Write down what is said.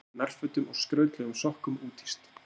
Litríkum nærfötum og skrautlegum sokkum úthýst